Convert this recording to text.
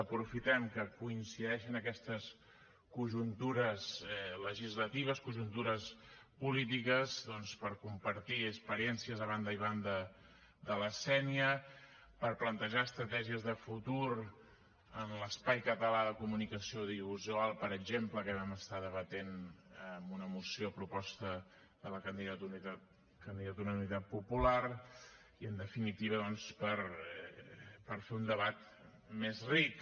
aprofitem que coincideixen aquestes conjuntures legislatives conjuntures polítiques doncs per compartir experiències a banda i banda de la sénia per plantejar estratègies de futur en l’espai català de comunicació audiovisual per exemple que vam estar debatent en una moció a proposta de la candidatura d’unitat popular i en definitiva doncs per fer un debat més ric